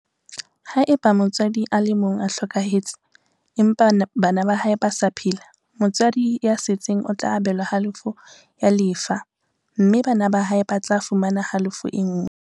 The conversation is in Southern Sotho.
Haeba motswadi a le mong o hlokahetse, empa bana ba hae ba sa phela, motswadi ya setseng o tla abelwa halofo ya lefa mme bana ba hae ba tla fumana halofo e nngwe.